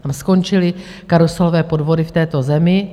Tam skončily karuselové podvody v této zemi.